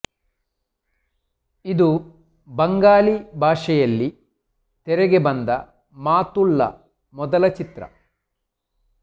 ಇದು ಬಂಗಾಲಿ ಭಾಷೆಯಲ್ಲಿ ತೆರೆಗೆ ಬಂದ ಮಾತುಳ್ಳ ಮೊದಲ ಚಿತ್ರ